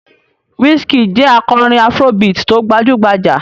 Wizkid jẹ́ akọrin afrobeat tó gbajú-gbajà.